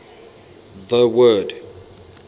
the word